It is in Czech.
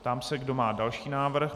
Ptám se, kdo má další návrh.